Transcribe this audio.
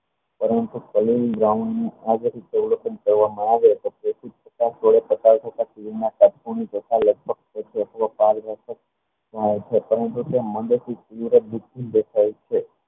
પરંતુ તાલીન રાવણ આ બધું અવલોકન કરવામાં આવે